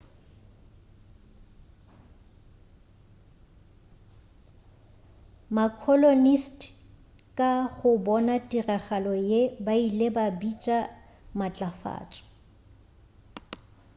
ma-colonist ka go bona tiragalo ye ba ile ba bitša matlafatšo